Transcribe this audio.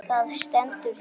Það stendur hérna.